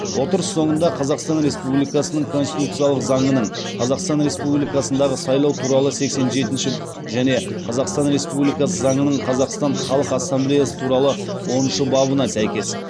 отырыс соңында қазақстан республикасының конституциялық заңының қазақстан республикасындағы сайлау туралы сексен жетінші және қазақстан республикас заңының қазақстан халқы ассамблеясы туралы оныншы бабына сәйкес